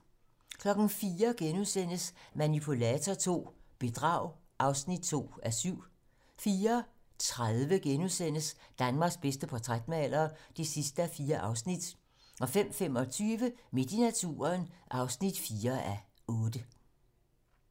04:00: Manipulator II - bedrag (2:7)* 04:30: Danmarks bedste portrætmaler (4:4)* 05:35: Midt i naturen (4:8)